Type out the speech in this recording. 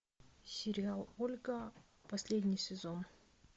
сериал ольга последний сезон